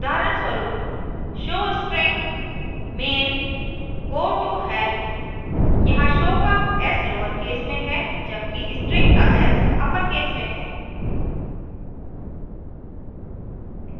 उदाहरणस्वरूप : showstring main gotohelp यहाँ show का s lowercase में है जब कि string का s अपरकेस में है